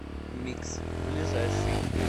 микс ближайший